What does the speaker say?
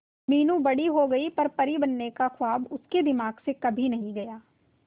मीनू बड़ी हो गई पर परी बनने का ख्वाब उसके दिमाग से कभी नहीं गया